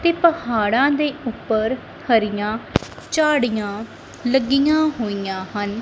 ਤੇ ਪਹਾੜਾਂ ਦੇ ਉੱਪਰ ਹਰੀਆਂ ਝਾੜੀਆਂ ਲੱਗੀਆਂ ਹੋਈਆਂ ਹਨ।